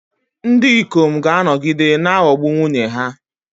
Ndị ikom ga-anọgide na-aghọgbu nwunye ha.